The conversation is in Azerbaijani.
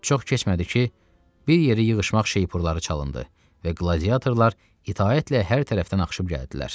Çox keçmədi ki, bir yeri yığışmaq şeypurları çalındı və qladiyatorlar itaətlə hər tərəfdən axışıb gəldilər.